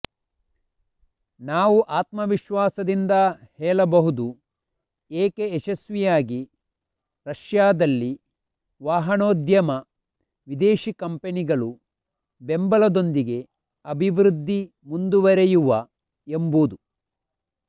ನಾವು ಆತ್ಮವಿಶ್ವಾಸದಿಂದ ಹೇಳಬಹುದು ಏಕೆ ಯಶಸ್ವಿಯಾಗಿ ರಷ್ಯಾದಲ್ಲಿ ವಾಹನೋದ್ಯಮ ವಿದೇಶಿ ಕಂಪನಿಗಳು ಬೆಂಬಲದೊಂದಿಗೆ ಅಭಿವೃದ್ಧಿ ಮುಂದುವರೆಯುವ ಎಂಬುದು